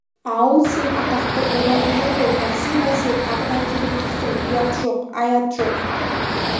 ау сен атақты бура едің ғой бәсе бәсе тағы да келіп тұрсың ұят жоқ аят жоқ